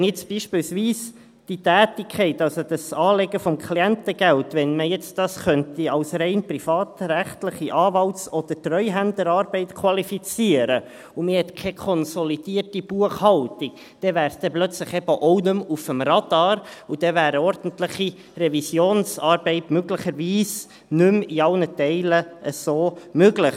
Wenn man jetzt beispielsweise diese Tätigkeit, also das Anlegen des Klientengelds, als rein privatrechtliche Anwalts- oder Treuhänderarbeit qualifizieren könnte, und man hat keine konsolidierte Buchhaltung, dann wäre es plötzlich eben auch nicht mehr auf dem Radar, und dann wäre eine ordentliche Revisionsarbeit möglicherweise nicht mehr in allen Teilen so möglich.